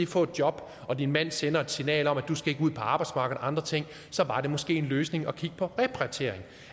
få et job og din mand sender et signal om at du ikke skal ud på arbejdsmarkedet og andre ting så var det måske en løsning at kigge på repatriering